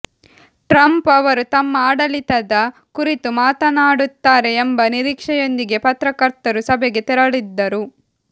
Trump ಅವರು ತಮ್ಮ ಆಡಳಿತದ ಕುರಿತು ಮಾತನಾಡುತ್ತಾರೆ ಎಂಬ ನಿರೀಕ್ಷೆಯೊಂದಿಗೆ ಪತ್ರಕರ್ತರು ಸಭೆಗೆ ತೆರಳಿದ್ದರು